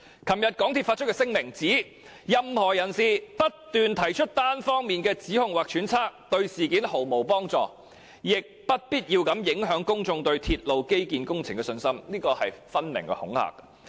港鐵公司在該聲明表示，任何人士"只不斷提出單方面的指控或揣測，對事件毫無幫助，亦不必要地影響公眾對鐵路基建工程的信心"，這分明是恐嚇。